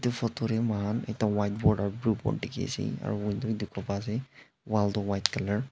tu photo tey muihan ekta white board aro blue board dikhi ase aro window wi dikhi pai ase wall toh white color .